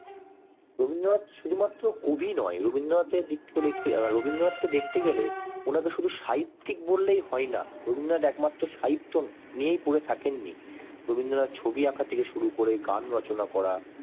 রবীন্দ্রনাথ শুধু মাত্র কবি নন রবীন্দ্রনাথ কে রবীন্দ্রনাথ এর দিক থেকে দেখতে গেলে ওনাকে শুধু সাহিত্যিক বললে হয় না রবীন্দ্রনাথ একমাত্র সাহিত্য নিয়ে পরে থাকেন নি রবীন্দ্রনাথ ছবি আঁকা থেকে শুরু করে গান রচনা করা